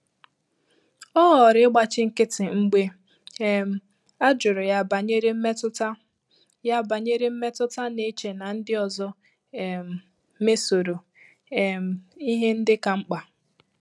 Ọ́ họọrọ ị́gbàchí nkị́tị́ mgbè um á jụ́rụ̀ yà bànyèrè mmétụ́tà, yà bànyèrè mmétụ́tà, nà-échè nà ndị́ ọzọ um mésọ́rọ um ìhè ndị́ kà mkpà.